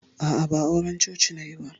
A'a, ba auran coci nayi ba.